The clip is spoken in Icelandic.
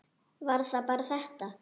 Var það bara þetta?